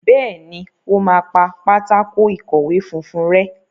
Béèni o má pá Pátákó ìkọ̀wé funfun rè.